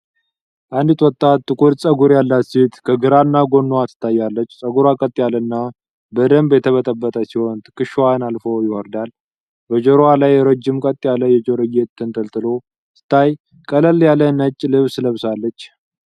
አንዲት ወጣት ጥቁር ፀጉር ያላት ሴት ከግራ ጎኗ ትታያለች። ፀጉሯ ቀጥ ያለ እና በደንብ የተበጠበጠ ሲሆን ትከሻዋን አልፎ ይወርዳል። በጆሮዋ ላይ ረጅም ቀጥ ያለ የጆሮ ጌጥ ተንጠልጥሎ ሲታይ ቀለል ያለ ነጭ ልብስ ለብሳለች።